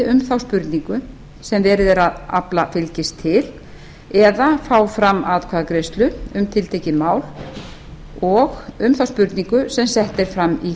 um þá spurningu sem verið er að afla fylgis til eða að fá fram atkvæðagreiðslu um tiltekið mál og um þá spurningu sem sett er fram í